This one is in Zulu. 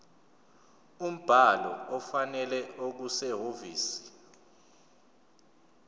umbhalo ofanele okusehhovisi